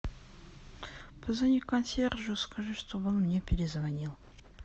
позвони консьержу скажи чтобы он мне перезвонил